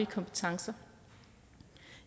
kompetencer